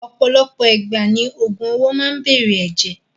Ọ̀pọ̀lọpọ̀ ìgbà ni ògùn owó máa n bere ẹ̀jẹ̀.